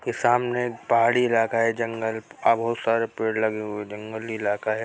ये सामने पहाड़ी इलाका है जंगल का बहोत सारे पेड़ लगे हुए हैं जंगली इलाका है।